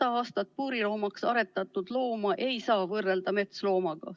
Saja aasta jooksul puuriloomaks aretatud looma ei saa võrrelda metsloomaga.